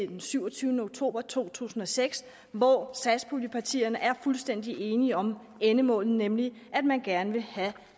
den syvogtyvende oktober to tusind og seks hvor satspuljepartierne er fuldstændig enige om endemålet nemlig at man gerne vil